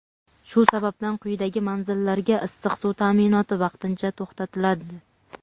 Shu sababdan quyidagi manzillarga issiq suv ta’minoti vaqtincha to‘xtatiladi:.